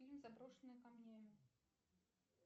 фильм заброшенный камнями